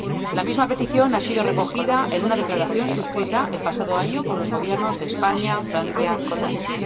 La misma petición ha sido recogida en una declaración suscrita el pasado año por los Gobiernos de España, Francia e Italia.